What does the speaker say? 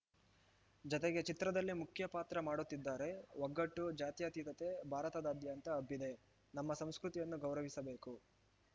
ಜತೆಗೆ ಚಿತ್ರದಲ್ಲಿ ಮುಖ್ಯ ಪಾತ್ರ ಮಾಡುತ್ತಿದ್ದಾರೆ ಒಗ್ಗಟ್ಟು ಜಾತ್ಯಾತೀತತೆ ಭಾರತಾದ್ಯಂತ ಹಬ್ಬಿದೆ ನಮ್ಮ ಸಂಸ್ಕೃತಿಯನ್ನು ಗೌರವಿಸಬೇಕು